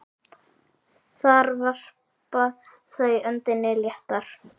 Þar varpa þau öndinni léttar.